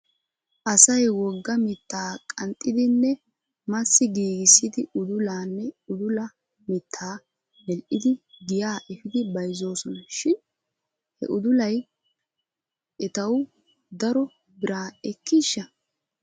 Asay wogga mitta qanxxidinne massi giigissidi udulaanne udula mitta medhdhidi giyaa efidi bayzoosona shin he udulaya etaw daro biraa ekkiisha?